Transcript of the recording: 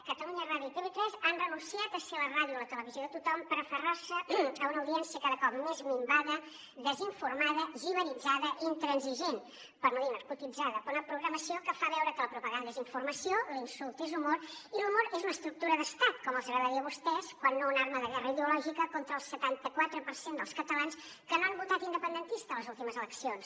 catalunya ràdio i tv3 han renunciat a ser la ràdio i la televisió de tothom per aferrar se a una audiència cada cop més minvada desinformada jivaritzada i intransigent per no dir narcotitzada per una programació que fa veure que la propaganda és informació l’insult és humor i l’humor és una estructura d’estat com els agradaria a vostès quan no una arma de guerra ideològica contra el setanta quatre per cent dels catalans que no han votat independentista a les últimes eleccions